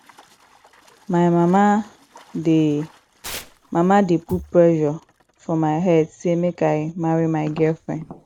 my mama dey mama dey put pressure for my head sey make i marry my girlfriend